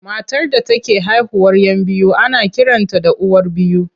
Matar da take haihuwar 'yan biyu ana kiranta da uwar biyu.